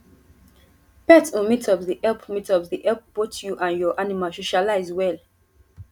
pet um meetups dey help meetups dey help both you and your animal socialize well